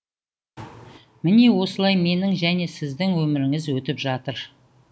міне осылай менің және сіздің өміріңіз өтіп жатыр